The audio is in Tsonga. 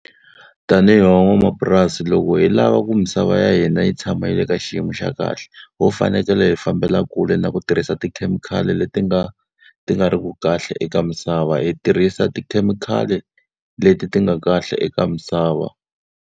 Tanihi van'wamapurasi loko hi lava ku misava ya hina yi tshama yi le ka xiyimo xa kahle, ho fanekele hi fambela kule na ku tirhisa tikhemikhali leti nga ti nga ri ku kahle eka misava. Hi tirhisa tikhemikhali leti ti nga kahle eka misava.